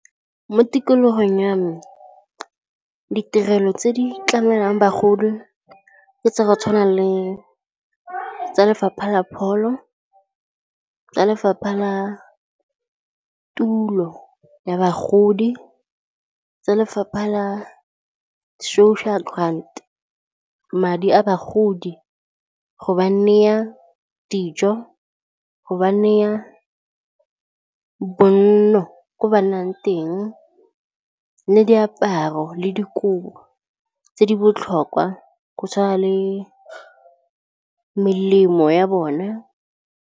Mo tikologong ya me ditirelo tse di tlamelwang bagodi ke tsa go tshwana le tsa Lefapha la Pholo, tsa Lefapha la Tulo ya Bagodi, tsa lefapha la social grant madi a bagodi, go ba naya dijo go ba neya bonno ko ba nnang teng le diaparo le dikobo tse di botlhokwa go tshwana le melemo ya bona.